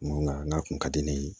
Nka n'a kun ka di ne ye